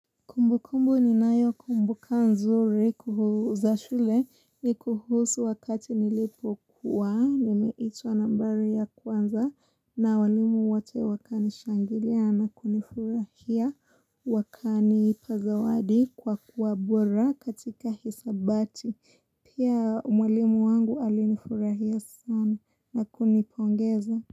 Kumbu kumbu ni nayo kumbuka nzuri kuhuza shule ni kuhusu wakati nilipo kuwa nimeitwa nambari ya kwanza na walimu wote wakani shangilia na kunifurahia wakanipazawadi kwa kuwa bora katika hisabati pia mwalimu wangu alinifurahia sana na kunipongeza.